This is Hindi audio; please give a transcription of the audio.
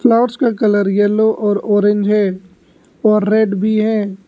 फ्लावर्स का कलर येलो और ऑरेंज है और रेड भी है।